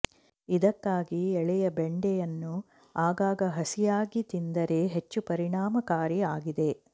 ಇದಕ್ಕಾಗಿ ಎಳೆಯ ಬೆಂಡೆಯನ್ನು ಆಗಾಗ ಹಸಿಯಾಗಿ ತಿಂದರೆ ಹೆಚ್ಚು ಪರಿಣಾಮಕಾರಿಯಾಗಿದೆ